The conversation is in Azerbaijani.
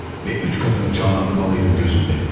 İki və üç qatını canlandırmalıydım gözümdə.